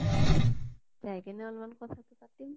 যাই কিনে অলমান কথা পাতিম